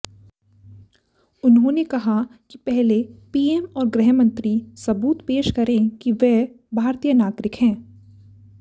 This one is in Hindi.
उन्होंने कहा कि पहले पीएम और गृहमंत्री सबूत पेश करें कि वह भारतीय नागरिक हैं